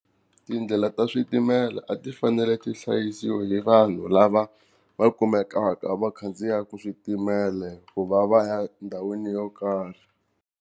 Tindlela ta switimela a ti fanele ti hlayisiwa hi vanhu lava va kumekaka va khandziyaka switimela ku va va ya endhawini yo karhi.